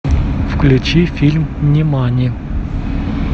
включи фильм нимани